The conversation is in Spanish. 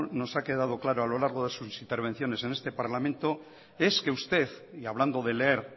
nos ha quedado claro a lo largo de sus intervenciones en este parlamento es que usted y hablando de leer